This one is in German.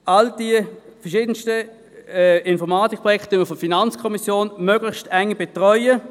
Diese verschiedenen Informatikprojekte werden von der FiKo möglichst eng betreut.